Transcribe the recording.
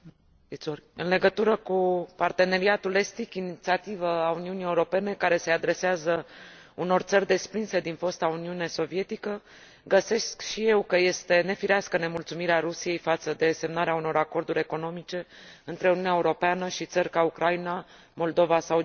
În legătură cu Parteneriatul estic, inițiativă a Uniunii Europene care se adresează unor țări desprinse din fosta Uniune Sovietică, găsesc și eu că este nefirească nemulțumirea Rusiei față de semnarea unor acorduri economice între Uniunea Europeană și țări ca Ucraina, Moldova sau Georgia.